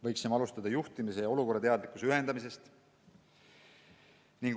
Võiksime alustada juhtimise ja olukorrateadlikkuse ühendamisest.